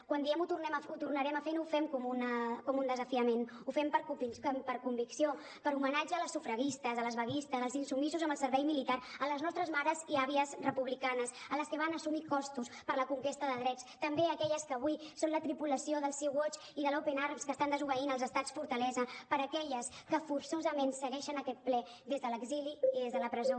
quan diem ho tornarem a fer no ho fem com un desafiament ho fem per convicció per homenatge a les sufragistes a les vaguistes als insubmisos amb el servei militar a les nostres mares i àvies republicanes a les que van assumir costos per la conquesta de drets també per aquelles que avui són la tripulació del sea watch i de l’open arms que estan desobeint els estats fortalesa per aquelles que forçosament segueixen aquest ple des de l’exili i des de la presó